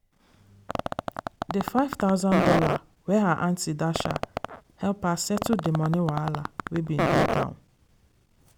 dey five thousand dollars wey her aunty dash her help her settle dey money wahala wey bin dey down.